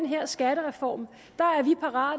her skattereform